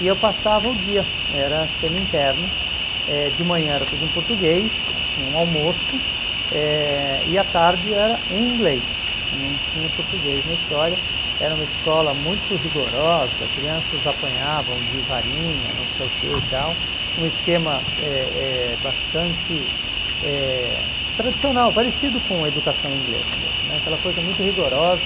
E eu passava o dia, era semi-interno, eh de manhã era tudo em português, tinha um almoço, eh e a tarde era em inglês, não tinha português na história, era uma escola muito rigorosa, crianças apanhavam de varinha, não sei o que e tal, um esquema eh eh bastante eh tradicional, parecido com a educação inglesa mesmo né, aquela coisa muito rigorosa,